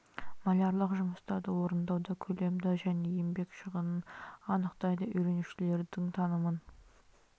малярлық жұмыстарды орындауда көлемді және еңбек шығынын анықтайды үйренушілердің танымын